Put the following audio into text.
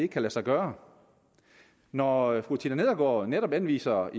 kan lade sig gøre når fru tina nedergaard netop henviser